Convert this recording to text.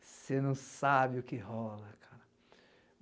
Você não sabe o que rola, cara.